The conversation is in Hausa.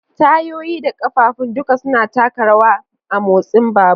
Tayoyi da ƙafafun duka suna taka rawa a motsin babur.